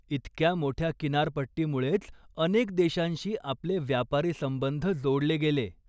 इतक्या मोठ्या किनारपट्टीमुळेच अनेक देशांशी आपले व्यापारी संबंध जोडले गेले.